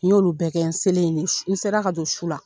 N y'olu bɛɛ kɛ n selen yen, n sera ka don su la .